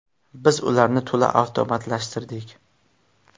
Biz ularni to‘la avtomatlashtirdik.